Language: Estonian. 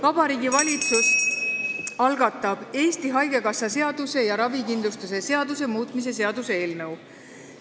Vabariigi Valitsus algatab Eesti Haigekassa seaduse ja ravikindlustuse seaduse muutmise seaduse eelnõu.